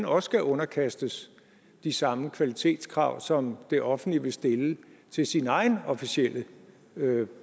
også skal underkastes de samme kvalitetskrav som det offentlige vil stille til sin egen officielt